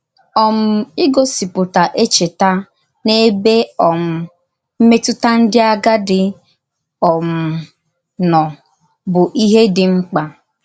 um Ígòsìpùtà èchètà n’èbè um mmètùtà ndí àgádì um nọ bụ íhè dị mkpa.